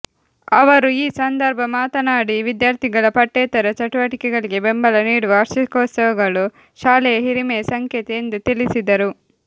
ಅವರು ಈ ಸಂದರ್ಭ ಮಾತನಾಡಿ ವಿದ್ಯಾರ್ಥಿಗಳ ಪಠ್ಯೇತರ ಚಟುವಟಿಕೆಗಳಿಗೆ ಬೆಂಬಲ ನೀಡುವ ವಾರ್ಷಿಕೋತ್ಸವಗಳು ಶಾಲೆಯ ಹಿರಿಮೆಯ ಸಂಕೇತ ಎಂದು ತಿಳಿಸಿದರು